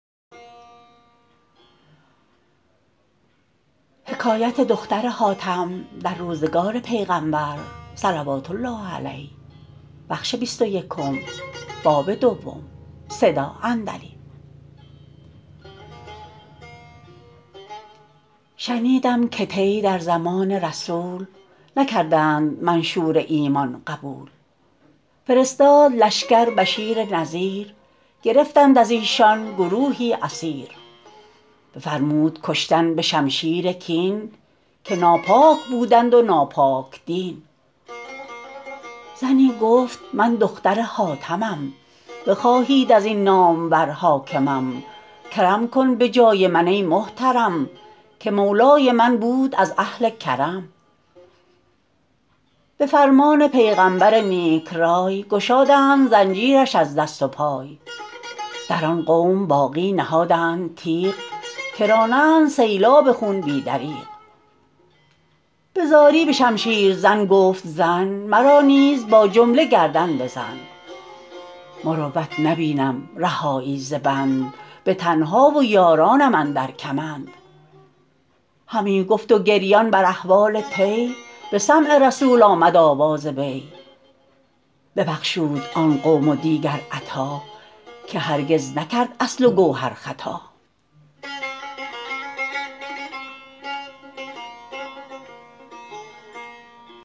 شنیدم که طی در زمان رسول نکردند منشور ایمان قبول فرستاد لشکر بشیر نذیر گرفتند از ایشان گروهی اسیر بفرمود کشتن به شمشیر کین که ناپاک بودند و ناپاک دین زنی گفت من دختر حاتمم بخواهید از این نامور حاکمم کرم کن به جای من ای محترم که مولای من بود از اهل کرم به فرمان پیغمبر نیک رای گشادند زنجیرش از دست و پای در آن قوم باقی نهادند تیغ که رانند سیلاب خون بی دریغ به زاری به شمشیر زن گفت زن مرا نیز با جمله گردن بزن مروت نبینم رهایی ز بند به تنها و یارانم اندر کمند همی گفت و گریان بر احوال طی به سمع رسول آمد آواز وی ببخشود آن قوم و دیگر عطا که هرگز نکرد اصل و گوهر خطا